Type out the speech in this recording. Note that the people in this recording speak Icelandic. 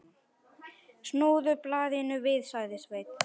Snúðu blaðinu við, sagði Sveinn.